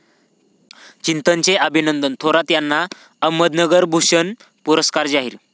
चिंतन'चे अभिनंदन थोरात यांना 'अहमदनगर भूषण' पुरस्कार जाहीर